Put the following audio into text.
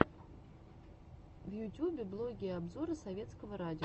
в ютюбе блоги и обзоры советского радио